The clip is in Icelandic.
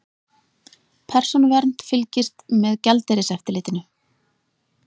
Persónuvernd fylgist með gjaldeyriseftirlitinu